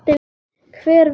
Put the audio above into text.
Hver veit?